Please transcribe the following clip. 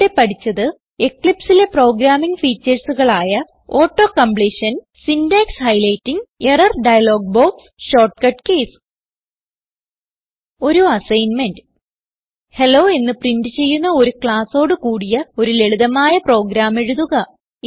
ഇവിടെ പഠിച്ചത് എക്ലിപ്സ് ലെ പ്രോഗ്രാമിംഗ് featuresകളായ auto completion syntax highlighting error dialog box shortcut keys ഒരു അസ്സൈന്മെന്റ് ഹെല്ലോ എന്ന് പ്രിന്റ് ചെയ്യുന്ന ഒരു ക്ളാസോട് കൂടിയ ഒരു ലളിതമായ പ്രോഗ്രാം എഴുതുക